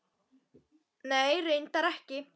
Nei, reyndar ekki.